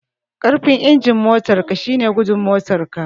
Karfin injin motar ka shine gudun motar ka